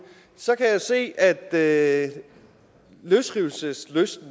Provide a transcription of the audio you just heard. så kan jeg se at løsrivelseslysten